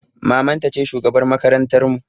Maman ta ce shugabar makarantar mu